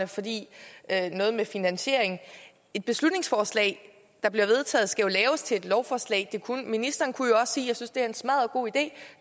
fordi det er noget med finansieringen et beslutningsforslag der bliver vedtaget skal jo laves til et lovforslag og ministeren kunne jo også sige jeg synes det er en smaddergod idé